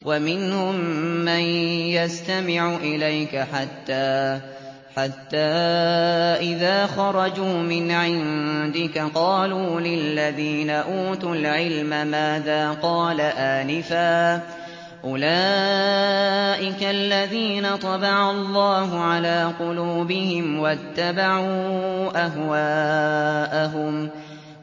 وَمِنْهُم مَّن يَسْتَمِعُ إِلَيْكَ حَتَّىٰ إِذَا خَرَجُوا مِنْ عِندِكَ قَالُوا لِلَّذِينَ أُوتُوا الْعِلْمَ مَاذَا قَالَ آنِفًا ۚ أُولَٰئِكَ الَّذِينَ طَبَعَ اللَّهُ عَلَىٰ قُلُوبِهِمْ وَاتَّبَعُوا أَهْوَاءَهُمْ